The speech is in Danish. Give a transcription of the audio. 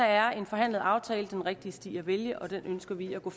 er en forhandlet aftale den rigtige sti at vælge og den ønsker vi at gå